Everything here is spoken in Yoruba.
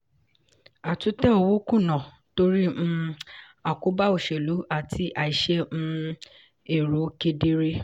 àtúntẹ̀ owó kùnà torí um àkóbá òṣèlú àti àìṣe um èrò kedere.